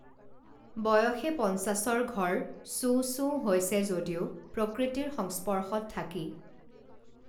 বয়সে পঞ্চাশৰ ঘৰ চোও চোও হৈছে যদিও প্ৰকৃতিৰ সংস্পৰ্শত থাকি